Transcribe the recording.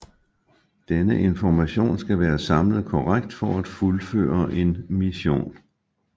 Denne information skal være samlet korrekt for at fuldføre en mission